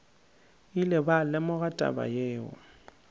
ile ba lemoga taba yeo